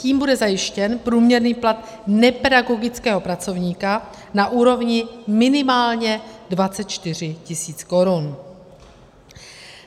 Tím bude zajištěn průměrný plat nepedagogického pracovníka na úrovni minimálně 24 tis. korun.